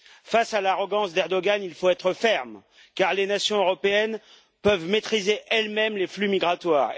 Face à l'arrogance de M. Erdogan, il faut être ferme car les nations européennes peuvent maîtriser elles mêmes les flux migratoires.